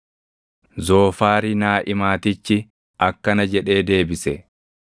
Zoofaari Naaʼimaatichi akkana jedhee deebise: